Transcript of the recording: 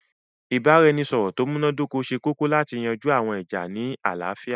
Ìbàràẹnisọ̀rọ̀ tó múnadókọ̀ sẹ̀ kòkò látì yanjú àwọn ìjà́ ní aláfíà.